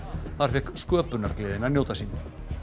þar fékk sköpunargleðin að njóta sín